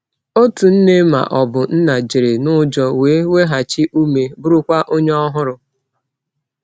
Otu nne ma ọ bụ nna jere n’ụjọ wee weghachi ume, bụrụkwa onye ọhụrụ.